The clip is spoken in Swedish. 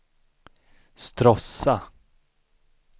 Stråssa